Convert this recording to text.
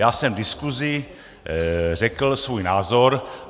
Já jsem v diskuzi řekl svůj názor.